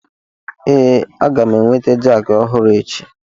Ee, a ga m enweta jakị ọhụrụ echi.